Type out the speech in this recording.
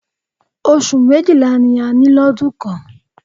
Oṣù méjìlá ni a ní lọdún kan.